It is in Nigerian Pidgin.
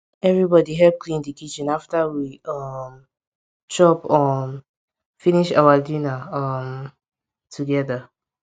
everybodi hep clean di kitchen after we um chop um finish our dinner um togeda